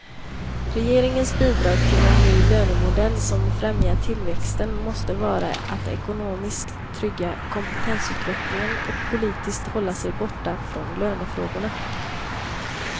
Regeringens bidrag till en ny lönemodell som främjar tillväxten måste vara att ekonomiskt trygga kompetensutvecklingen och politiskt hålla sig borta från lönefrågorna.